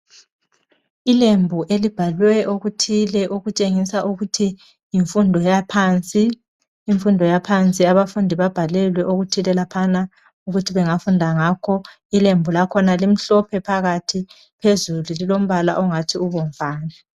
Ilembu elibhalwe okuthile. Okutshengisa ukuthi yimfundo yaphansi. Imfundo yaphansi, abafundi babhalelwe okuthile laphana. Okutshengisa ukuthi bangafunda ngakho. Ilembu lakhona limhlophe phakathi. Phezulu, lilombala, ongathi ubomvana.